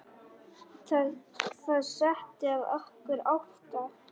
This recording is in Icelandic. Það setti að okkur ótta.